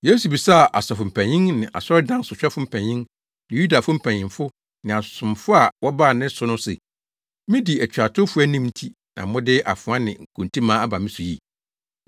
Yesu bisaa asɔfo mpanyin ne asɔredan sohwɛfo mpanyin ne Yudafo mpanyimfo ne asomfo a wɔbaa ne so no se, “Midi atuatewfo anim nti na mode afoa ne nkontimmaa aba me so yi?